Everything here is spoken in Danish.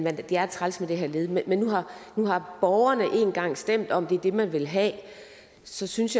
at det er træls med det her led men nu har borgerne en gang stemt om at det er det man vil have og så synes